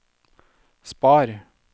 spar